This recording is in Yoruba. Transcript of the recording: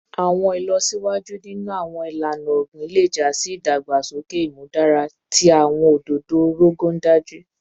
Awọn ilọsiwaju ninu awọn ilana ogbin le ja si idagbasoke imudara ti awọn ododo Rogon Daji